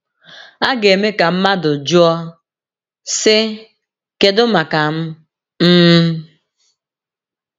A ga - eme ka mmadụ jụọ, sị: ‘ Kedu maka m m ?’